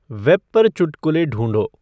web पर चुटकुले ढूँढो